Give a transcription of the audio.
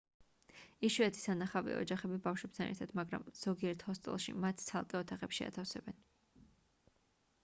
იშვიათი სანახავია ოჯახები ბავშვებთან ერთად მაგრამ ზოგიერთ ჰოსტელში მათ ცალკე ოთახებში ათავსებენ